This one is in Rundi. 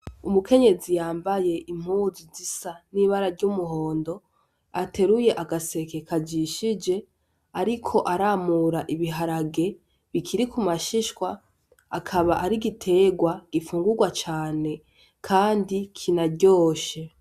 Umukenyezi yambaye impuzu zisa n’ibara ryumuhondo ateruye agaseke kajishije ariko aramura ibiharage bikiri kumashishwa ,akaba ari igiterwa gifungugwa cane kandi kinaryoshe.